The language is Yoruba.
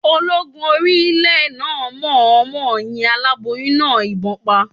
Ológun orí ilẹ̀ náà mọ̀ ọ́n mọ yin aláboyún náà ìbọn pa